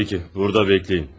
Yaxşı, burada gözləyin.